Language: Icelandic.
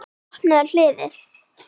Opnaðu hliðið.